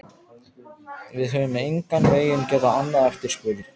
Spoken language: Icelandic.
Við höfum engan veginn getað annað eftirspurn.